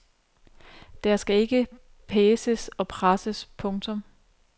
Der skal ikke paces og presses. punktum